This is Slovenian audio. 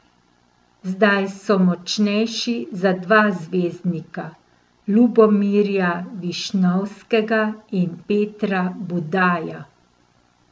Zdaj so močnejši za dva zvezdnika, Lubomirja Višnovskega in Petra Budaja.